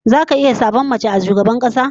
Zaka iya zabar mace a shugabar kasa?